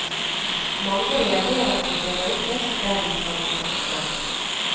Mange reagerer på at det røykes der de skal raste.